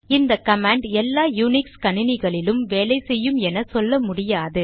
இந்த கமாண்ட் எல்லா யூனிக்ஸ் கணினிகளிலும் வேலை செய்யும் என சொல்ல முடியாது